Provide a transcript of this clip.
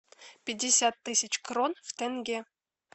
пятьдесят тысяч крон в тенге